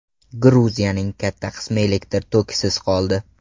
Gruziyaning katta qismi elektr tokisiz qoldi.